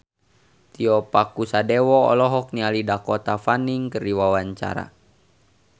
Tio Pakusadewo olohok ningali Dakota Fanning keur diwawancara